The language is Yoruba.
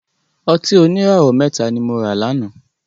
Ọtí oníràwọ̀ mẹ́ta ni mora láná